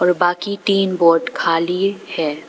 बाकी तीन बोट खाली है।